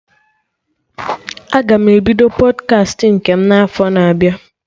Aga m ebido Pọdkast nke m na afọ na-abịa